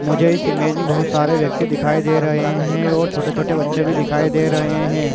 मुझे इस इमेज में बहुत सारे व्यक्ति दिखाई दे रहे हैं और छोटे-छोटे बच्चे भी दिखाई दे रहे हैं।